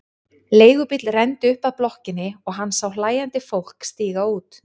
Leigubíll renndi upp að blokkinni og hann sá hlæjandi fólk stíga út.